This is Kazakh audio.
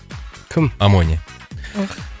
кім амоня